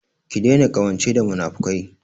Ki daina ƙawance da munafukai!